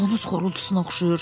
Donuz xorultusuna oxşayır.